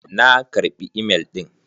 Na karɓi imel ɗin.